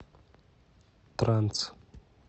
транс